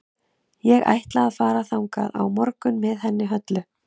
Ég ætla að fara þangað á morgun með henni Höllu.